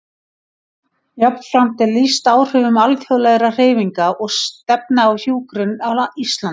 Jafnframt er lýst áhrifum alþjóðlegra hreyfinga og stefna á hjúkrun á Íslandi.